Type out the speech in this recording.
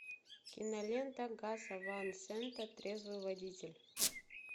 кинолента гаса ван сента трезвый водитель